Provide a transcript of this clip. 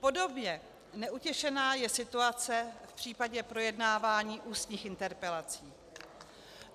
Podobně neutěšená je situace v případě projednávání ústních interpelací.